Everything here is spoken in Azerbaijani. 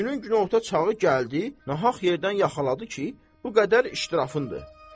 Günün günorta çağı gəldi, nahaq yerdən yaxaladı ki, bu qədər iştirafındır.